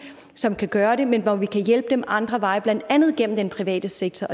som kan gøre det men hvor vi kan hjælpe dem ad andre veje blandt andet gennem den private sektor